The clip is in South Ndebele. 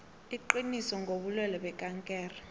iqiniso ngobulwelwe bekankere